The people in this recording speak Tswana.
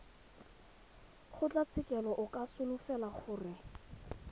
kgotlatshekelo o ka solofela gore